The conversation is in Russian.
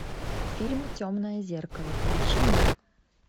фильм темное зеркало включи мне